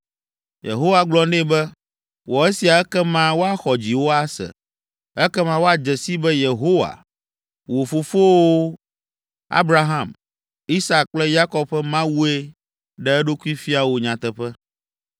Yehowa gblɔ nɛ be, “Wɔ esia ekema woaxɔ dziwò ase, ekema woadze sii be Yehowa, wo fofowo, Abraham, Isak kple Yakob ƒe Mawue ɖe eɖokui fia wò nyateƒe.”